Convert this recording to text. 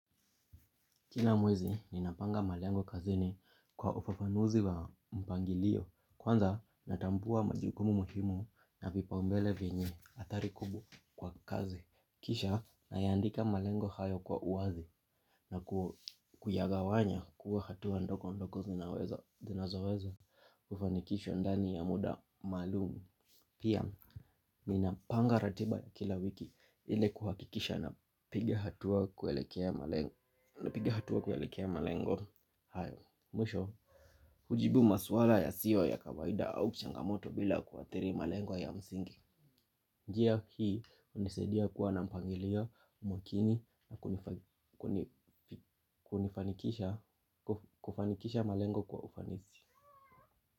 Kila mwezi, ninapanga malengo kazini kwa ufafanuzi wa mpangilio. Kwanza, natambua majukumu muhimu na vipipaumbele vyenye athari kubwa kwa kazi. Kisha, nayandika malengo hayo kwa uwazi na kuyagawanya kuwa hatua ndogo ndogo zinazowezo. Ufanikisho ndani ya muda maalum. Pia, ninapanga ratiba ya kila wiki ili kuhakikisha napiga hatua na piga hatua kuelekea malengo hayo. Mwisho, hujibu maswala yasiyo ya kawaida au changamoto bila kuathiri malengo ya msingi. Njia hii, hunisaidia kuwa na mpangilio mwakini na kunifanikisha kufanikisha malengo kwa ufanisi.